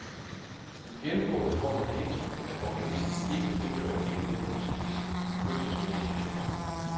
Gennemgående får man det indtryk, at organisten ikke frigør hele denne musiks følelsesmæssige energi.